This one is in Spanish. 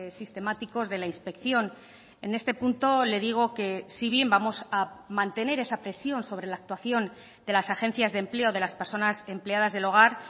sistemáticos de la inspección en este punto le digo que si bien vamos a mantener esa presión sobre la actuación de las agencias de empleo de las personas empleadas del hogar